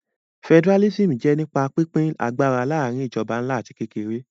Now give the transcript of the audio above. Federalism jẹ́ nípa pínpín agbára láàrin ìjọba ńlá àti kékeré